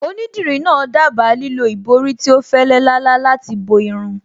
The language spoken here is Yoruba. Onídìrí náà dábàá lílo ìborí tí ó fẹ́lẹ́ lálá láti bo irun